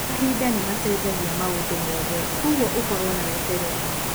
Mahinda nĩ macenjagia maũndũ mothe, kwoguo ũkorũo na wetereri.